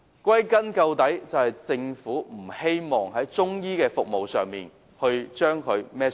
歸根究底，是因為政府不希望負上營辦中醫服務的責任。